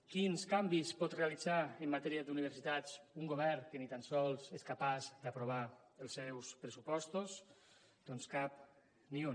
quins canvis pot realitzar en matèria d’universitats un govern que ni tan sols és capaç d’aprovar els seus pressupostos doncs cap ni un